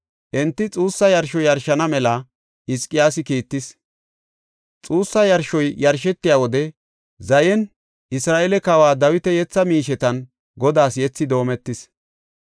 Enti xuussa yarsho yarshana mela Hizqiyaasi kiittis. Xuussa yarshoy yarshetiya wode zayeynne Isra7eele kawa Dawita yetha miishetan Godaas yethi doometees.